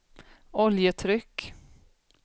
oljetryck